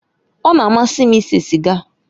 Ọ na-amasị m ise siga